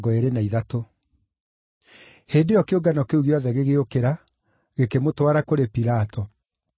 Hĩndĩ ĩyo kĩũngano kĩu gĩothe gĩgĩũkĩra, gĩkĩmũtwara kũrĩ Pilato.